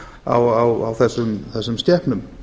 gervitunglamerkingar á þessum skepnum